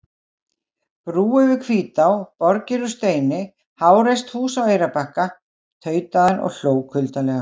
Brú yfir Hvítá, borgir úr steini, háreist hús á Eyrarbakka, tautaði hann og hló kuldalega.